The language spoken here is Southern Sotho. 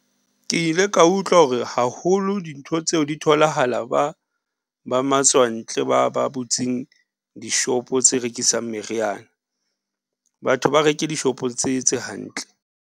Ke ile ka utlwa hore haholo dintho tseo di tholahala ba, ba matswantle ba ba butseng dishopo tse rekisang meriana. Batho ba reke dishopong tse, tse hantle.